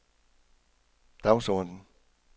dagsorden